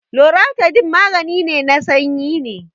loratadine maganin sanyi ne